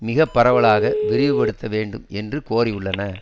மிக பரவலாக விரிவு படுத்த வேண்டும் என்று கோரியுள்ளன